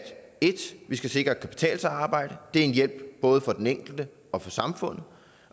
vi skal sikre at det kan betale sig at arbejde det er en hjælp både for den enkelte og for samfundet